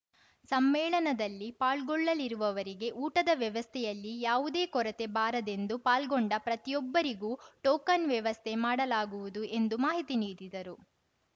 ಸಮ್ಮೇಳನದಲ್ಲಿ ಪಾಲ್ಗೊಳ್ಳಲಿರುವವರಿಗೆ ಊಟದ ವ್ಯವಸ್ಥೆಯಲ್ಲಿ ಯಾವುದೇ ಕೊರತೆ ಬಾರದೆಂದು ಪಾಲ್ಗೊಂಡ ಪ್ರತಿಯೊಬ್ಬರಿಗೂ ಟೋಕನ್‌ ವ್ಯವಸ್ಥೆ ಮಾಡಲಾಗುವುದು ಎಂದು ಮಾಹಿತಿ ನೀಡಿದರು